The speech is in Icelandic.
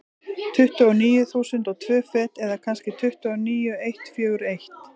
Tuttugu og níu þúsund og tvö fet, eða kannski tuttugu og níu eitt fjögur eitt.